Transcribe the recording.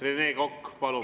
Rene Kokk, palun!